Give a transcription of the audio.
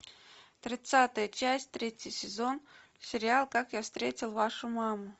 тридцатая часть третий сезон сериал как я встретил вашу маму